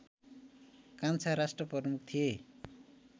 कान्छा राष्ट्रप्रमुख थिए